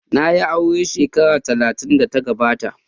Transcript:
Na yi aure shekara talatin da ta gabata.